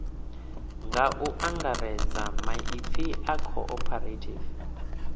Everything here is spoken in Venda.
nga angaredza maipfi aya cooperative